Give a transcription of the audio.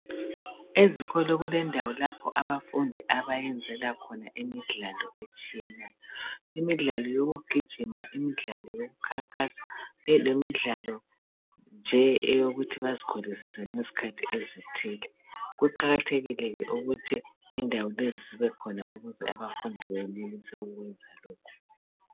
Ezikolo kulendawo lapho abafundi abayenzela khona imidlalo etshiyeneyo. Imidlalo yokugijima, imidlalo yokukhankasa lemidlalo nje eyokuthi bazikholisise ngezikhathi ezithile. Kuqakathekile ke ukuthi indawo lezi zibekhona ukuze abafundi benelise ukwenza lokhu.